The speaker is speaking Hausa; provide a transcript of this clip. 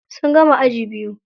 Sun gama aji biyu.